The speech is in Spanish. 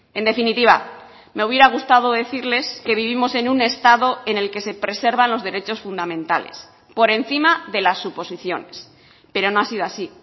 en definitiva me hubiera gustado decirles que vivimos en un estado en el que se preservan los derechos fundamentales por encima de las suposiciones pero no ha sido así